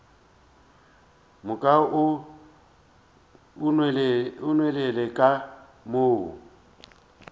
moka o nwelele ka mo